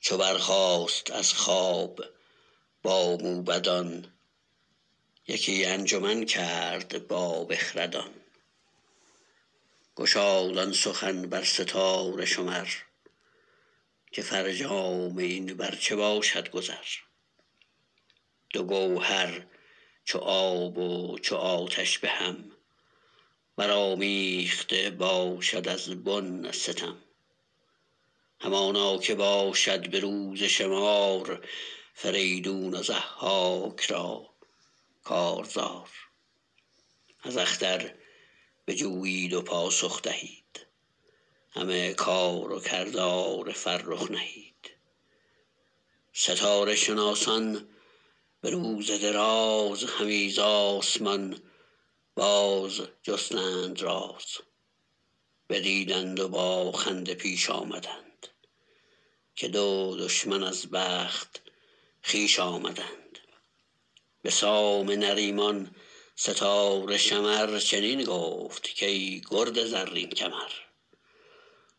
چو برخاست از خواب با موبدان یکی انجمن کرد با بخردان گشاد آن سخن بر ستاره شمر که فرجام این بر چه باشد گذر دو گوهر چو آب و چو آتش به هم برآمیخته باشد از بن ستم همانا که باشد به روز شمار فریدون و ضحاک را کارزار از اختر بجویید و پاسخ دهید همه کار و کردار فرخ نهید ستاره شناسان به روز دراز همی ز آسمان بازجستند راز بدیدند و با خنده پیش آمدند که دو دشمن از بخت خویش آمدند به سام نریمان ستاره شمر چنین گفت کای گرد زرین کمر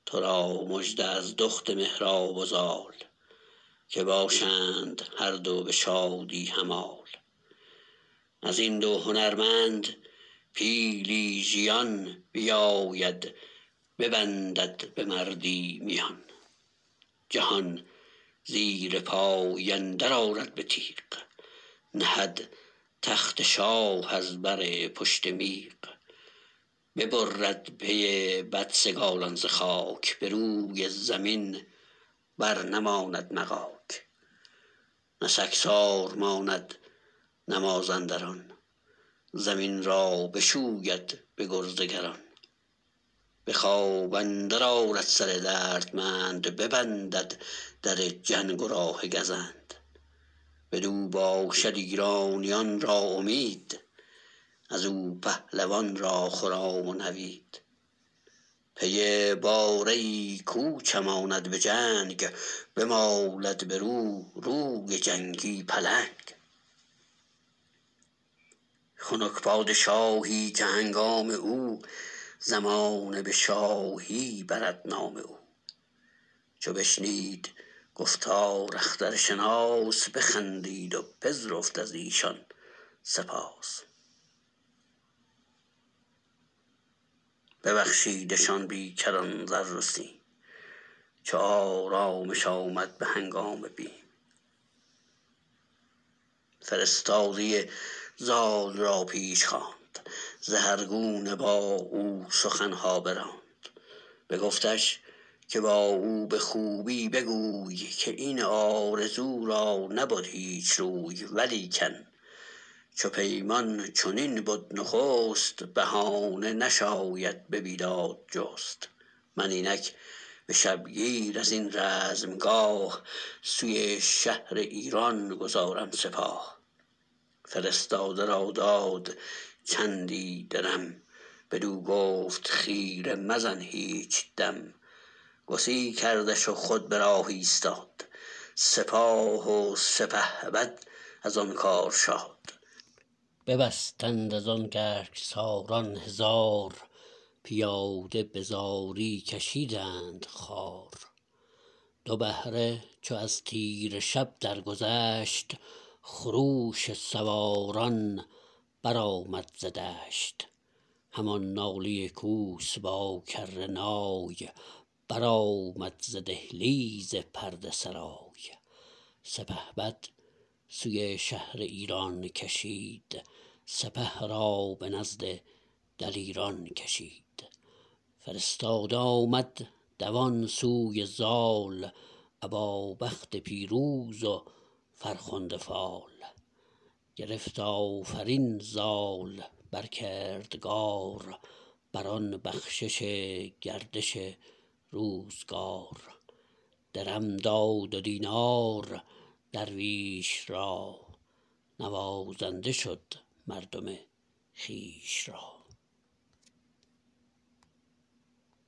ترا مژده از دخت مهراب و زال که باشند هر دو به شادی همال ازین دو هنرمند پیلی ژیان بیاید ببندد به مردی میان جهان زیرپای اندر آرد به تیغ نهد تخت شاه از بر پشت میغ ببرد پی بدسگالان ز خاک به روی زمین بر نماند مغاک نه سگسار ماند نه مازندران زمین را بشوید به گرز گران به خواب اندرد آرد سر دردمند ببندد در جنگ و راه گزند بدو باشد ایرانیان را امید ازو پهلوان را خرام و نوید پی باره ای کو چماند به جنگ بمالد برو روی جنگی پلنگ خنک پادشاهی که هنگام او زمانه به شاهی برد نام او چو بشنید گفتار اخترشناس بخندید و پذرفت ازیشان سپاس ببخشیدشان بی کران زر و سیم چو آرامش آمد به هنگام بیم فرستاده زال را پیش خواند زهر گونه با او سخنها براند بگفتش که با او به خوبی بگوی که این آرزو را نبد هیچ روی ولیکن چو پیمان چنین بد نخست بهانه نشاید به بیداد جست من اینک به شبگیر ازین رزمگاه سوی شهر ایران گذارم سپاه فرستاده را داد چندی درم بدو گفت خیره مزن هیچ دم گسی کردش و خود به راه ایستاد سپاه و سپهبد از آن کار شاد ببستند از آن گرگساران هزار پیاده به زاری کشیدند خوار دو بهره چو از تیره شب درگذشت خروش سواران برآمد ز دشت همان ناله کوس با کره نای برآمد ز دهلیز پرده سرای سپهبد سوی شهر ایران کشید سپه را به نزد دلیران کشید فرستاده آمد دوان سوی زال ابا بخت پیروز و فرخنده فال گرفت آفرین زال بر کردگار بران بخشش گردش روزگار درم داد و دینار درویش را نوازنده شد مردم خویش را